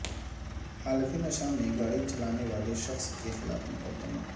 حالت نشہ میں گاڑی چلانے والے شخص کے خلاف مقدمہ